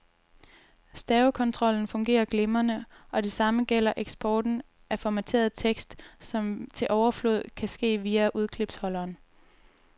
Stavekontrollen fungerer glimrende, og det samme gælder eksporten af formateret tekst, som til overflod kan ske via udklipsholderen.